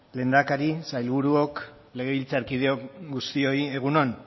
lehendakari sailburuok legebiltzarkide guztioi egun on